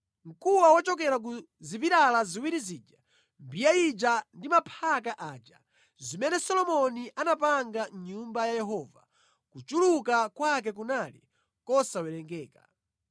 Mkuwa wochokera ku zipilala ziwiri zija, mbiya ija ndi maphaka aja, zimene Solomoni anapanga mʼNyumba ya Yehova, kuchuluka kwake kunali kosawerengeka.